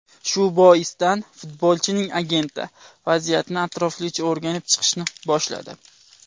Shu boisdan futbolchining agenti vaziyatni atroflicha o‘rganib chiqishni boshladi.